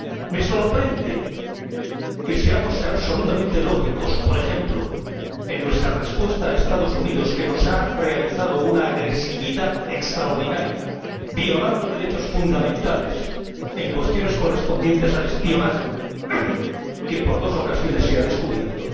Me sorprende que seamos absolutamente lógicos, por ejemplo, en nuestra respuesta a Estados Unidos —que ha hecho prueba de una agresividad extraordinaria violando derechos fundamentales en asuntos de espionaje, que por dos ocasiones se han descubierto—